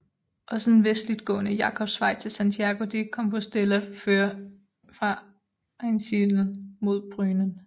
Også den vestligtgående Jakobsvej til Santiago de Compostela fører fra Einsiedeln mod Brunnen